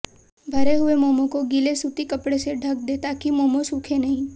भरे हुए मोमो को गीले सूती कपड़े से ढक दें ताकि मोमो सूखें नहीं